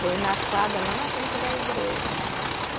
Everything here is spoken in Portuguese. Foi na quadra lá na frente da igreja.